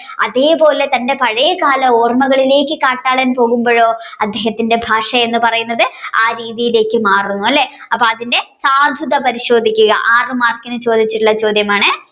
അതെ പോലെ തന്റെ പഴയ കാല ഓർമകളിലേക്ക് കാട്ടാളൻ പോകുമ്പഴോ അദ്ദേഹത്തിന്റെ ഭാഷ എന്ന് പറയുന്നത് ആ രീതിയിലേക്ക് മാറുന്നു അല്ലെ അപ്പൊ അതിന്റെ സാധുത പരിശോധിക്കുക ആറു മാർക്കിന് ചോദിച്ചിട്ടുളള ചോദ്യമാണ്